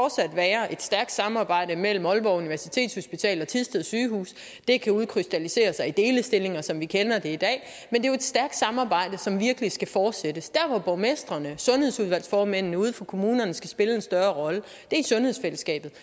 være et stærkt samarbejde mellem aalborg universitetshospital og thisted sygehus det kan udkrystallisere sig i delestillinger som vi kender det i dag og er jo et stærkt samarbejde som virkelig skal fortsættes der hvor borgmestrene og sundhedsudvalgsformændene ude fra kommunerne skal spille en større rolle er i sundhedsfællesskabet